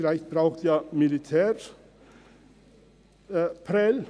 Vielleicht braucht ja das Militär Prêles.